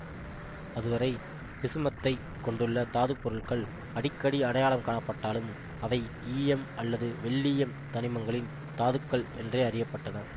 அதுவரை பிசுமத்தைக் கொண்டுள்ள தாது பொருட்கள் அடிக்கடி அடையாளம் காணப்பட்டாலும் அவை ஈயம் அல்லது வெள்ளீயம் தனிமங்களின் தாதுக்கள் என்றே அறிய பட்டன